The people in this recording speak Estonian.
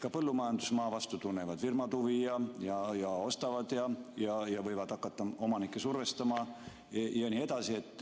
Ka põllumajandusmaa vastu tunnevad firmad huvi ja ostavad ja võivad hakata omanikke survestama jne.